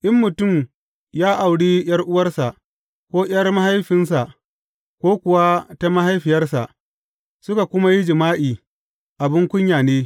In mutum ya auri ’yar’uwarsa, ko ’yar mahaifinsa, ko kuwa ta mahaifiyarsa, suka kuma yi jima’i, abin kunya ne.